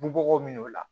Bugo min o la